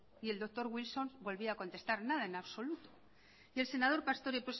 y el doctor wilson volvía a contestar nada en absoluto y el senador pastore